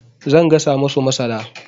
Zan gasa masu masara.